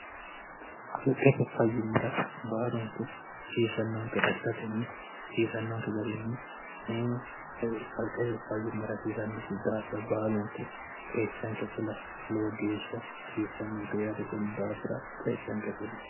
kalqete fayyimmira baalunku hasiisannoonke assatinni hasiisannonke garinni ekalqete fayyimmira hasiisnnodfir baalunku qeechanke fula loo geeshsha hasiisannonke yaate kud daafira qeechanke fudyo